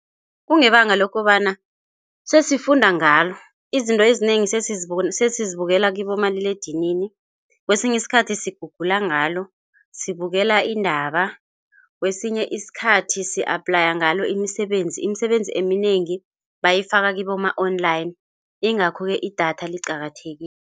Kungebanga lokobana sesifunda ngalo. Izinto ezinengi sesizibukela kibomaliledinini, kwesinye isikhathi sigugula ngalo, sibukela iindaba. Kwesinye isikhathi si-aplaya ngalo imisebenzi. Imisebenzi eminengi bayifaka kiboma-online, ingakho-ke idatha liqakathekile.